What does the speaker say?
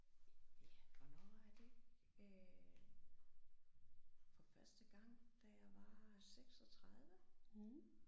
Ja hvornår var jeg det øh. For første gang da jeg var 36